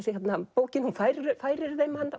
bókin færir færir þeim hann